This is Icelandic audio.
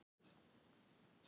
Virðingin var algjör